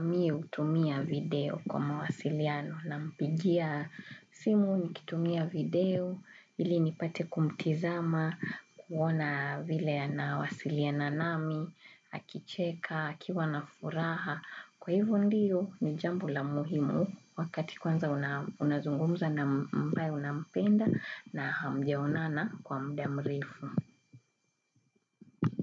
mi hutumia video kwa mawasiliano. Nampigia simu ni kitumia video, ili nipate kumtizama, kuona vile anawasilina nami, akicheka, kiwa na furaha. Kwa hivo ndiyo ni jambo la muhimu wakati kwanza unazungumza na mbae unampenda na hamjaonana kwa mda mrefu.